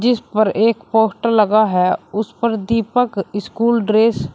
इस पर एक पोस्टर लगा है उस पर दीपक स्कूल ड्रेस --